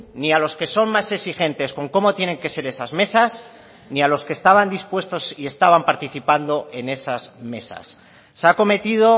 ni a los que son más exigentes con cómo tienen que ser esas mesas ni a los que estaban dispuestos y estaban participando en esas mesas se ha cometido